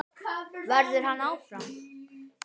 Verður hann áfram?